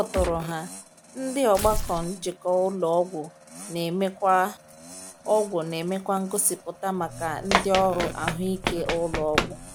"N’ịkpọtụrụ ha, Ndị Ọgbakọ Njikọ Ụlọ Ọgwụ na-emekwa Ọgwụ na-emekwa ngosipụta maka ndị ọrụ ahụike ụlọ ọgwụ."